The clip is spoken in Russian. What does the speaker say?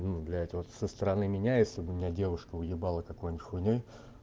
ну блять вот со стороны меняется у меня девушка уебала какую-нибудь хуйнёй